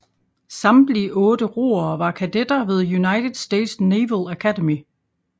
Samtlige otte roere var kadetter ved United States Naval Academy